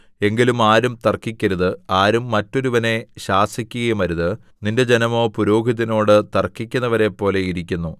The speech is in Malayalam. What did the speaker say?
എങ്കിലും ആരും തർക്കിക്കരുത് ആരും മറ്റൊരുവനെ ശാസിക്കുകയും അരുത് നിന്റെ ജനമോ പുരോഹിതനോട് തർക്കിക്കുന്നവരെപ്പോലെ ഇരിക്കുന്നു